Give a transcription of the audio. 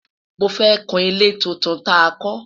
mọ fẹ kún ilé títún tá kò